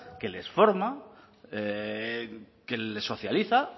que les forma que les socializa